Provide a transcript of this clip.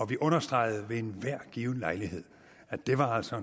vi understregede ved enhver given lejlighed at det altså